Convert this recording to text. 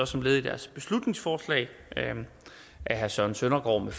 som led i deres beslutningsforslag af herre søren søndergaard